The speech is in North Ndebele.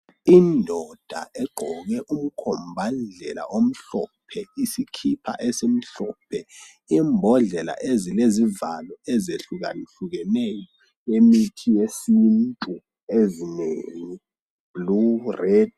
Indoda egqoke umkhombandlela omhlophe, isikhipha esimhlophe, imbodlela ezilezivalo ezehlukahlukeneyo zemithi yesintu ezinengi, blu, redi.